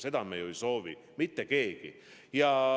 Seda me ju ei soovi mitte keegi.